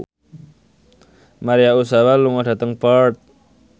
Maria Ozawa lunga dhateng Perth